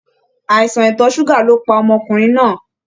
Àìsàn itọ ṣuga ló pá ọmọkùnrin náà.